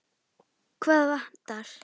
Hvað vantar?